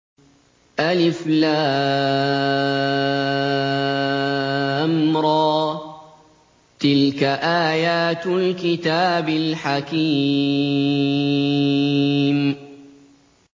الر ۚ تِلْكَ آيَاتُ الْكِتَابِ الْحَكِيمِ